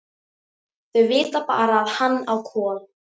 Þau vita bara að hann á Kol.